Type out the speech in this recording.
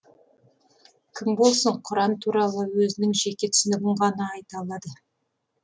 кім болсын құран туралы өзінің жеке түсінігін ғана айта алады